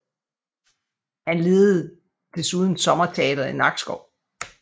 Han ledede desuden sommerteatret i Nakskov